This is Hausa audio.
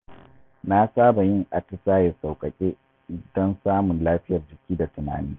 Na saba yin atisaye sauƙaƙe don samun lafiyar jiki da tunani.